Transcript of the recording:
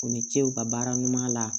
U ni ce u ka baara ɲuman la